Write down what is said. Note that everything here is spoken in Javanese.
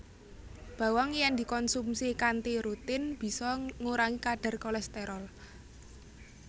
Bawang yèn dikonsumsi kanthi rutin bisa ngurangi kadhar kolèsterol